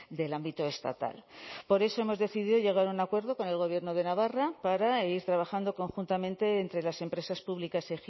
del ámbito estatal por eso hemos decidido llegar a un acuerdo con el gobierno de navarra para ir trabajando conjuntamente entre las empresas públicas